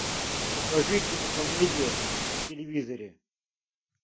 покажи кинокомедия на телевизоре